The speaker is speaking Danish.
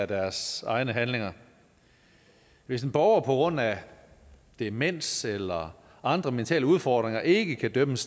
deres egne handlinger hvis borgere på grund af demens eller andre mentale udfordringer ikke kan idømmes